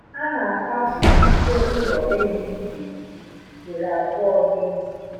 A na akwapu ute ụlọ ehi n'ezi ugboro abụọ n'izuu